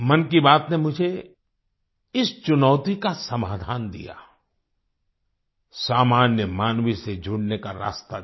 मन की बात ने मुझे इस चुनौती का समाधान दिया सामान्य मानवी से जुड़ने का रास्ता दिया